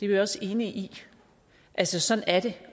vi også enige i altså sådan er det